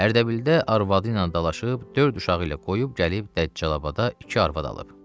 Ərdəbildə arvadı ilə dalaşıb, dörd uşağı ilə qoyub gəlib Dəccalabadda iki arvad alıb.